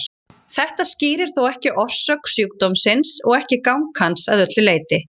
Þetta skýrir þó ekki orsök sjúkdómsins og ekki gang hans að öllu leyti.